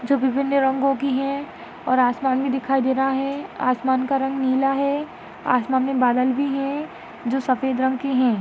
जो विभिन्न रंगों की है और आसमान भी दिखाई दे रहा है आसमान का रंग नीला है आसमान मे बादल भी है जो सफ़ेद रंग की है।